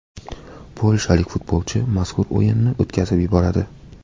Polshalik futbolchi mazkur o‘yinni o‘tkazib yuboradi.